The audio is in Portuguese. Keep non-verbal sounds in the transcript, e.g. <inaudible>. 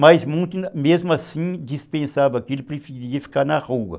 Mas <unintelligible> mesmo assim dispensava aquilo, preferia ficar na rua.